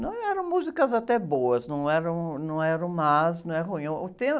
Não, eram músicas até boas, não eram, não eram más, não é ruim. É o tema